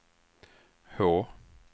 H